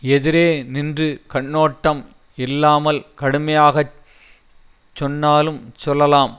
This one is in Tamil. எதிரே நின்று கண்ணோட்டம் இல்லாமல் கடுமையாக சொன்னாலும் சொல்லலாம்